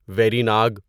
very Nag